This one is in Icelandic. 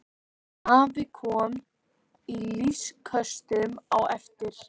Afi kom í loftköstum á eftir.